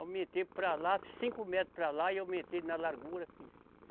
Aumentei para lá, cinco metros para lá e aumentei na largura, fiz.